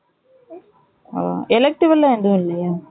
on elective லாம் எதும் இல்லையா